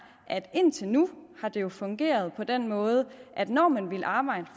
indtil nu har det jo fungeret på den måde at når man ville arbejde